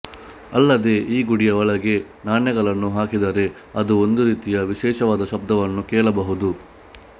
ಅಲ್ಲದೆ ಆ ಗುಡಿಯ ಒಳಗೆ ನಾಣ್ಯಗಳನ್ನು ಹಾಕಿದರೆ ಅದು ಒಂದು ರೀತಿಯ ವಿಶೇಷವಾದ ಶಬ್ದವನ್ನು ಕೇಳಬಹುದು